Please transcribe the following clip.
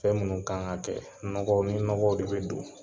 Fɛn munnu kan ŋa kɛ, nɔgɔ ni nɔgow de be don